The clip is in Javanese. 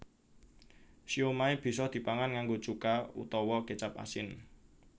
Siomai bisa dipangan nganggo cuka utawa kécap asin